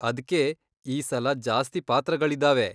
ಅದ್ಕೇ ಈ ಸಲ ಜಾಸ್ತಿ ಪಾತ್ರಗಳಿದಾವೆ.